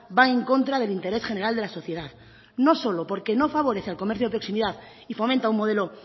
va en contra del interés general de la sociedad no solo porque no favorece al comercio de proximidad y fomenta un modelo